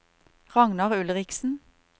Ragnar Ulriksen